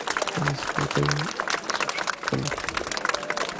алиса закажи суши в номер